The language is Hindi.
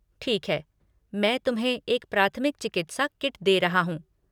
ठीक है, मैं तुम्हें एक प्राथमिक चिकित्सा किट दे रहा हूँ।